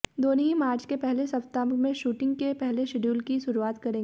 दोनों ही मार्च के पहले सप्ताह में शूटिंग के पहले शेड्यूल की शुरुआत करेंगे